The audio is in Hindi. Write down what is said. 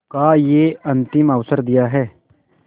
का यह अंतिम अवसर दिया है